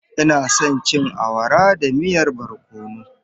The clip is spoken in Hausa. Ina son cin awara da miyan barkono.